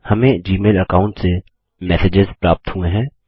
हमें Gmail account से messages प्राप्त हुए हैं